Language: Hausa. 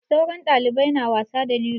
Sauran ɗalibai na wasa da lilo.